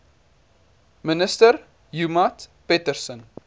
minister joemat pettersson